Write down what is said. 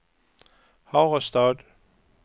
Harestad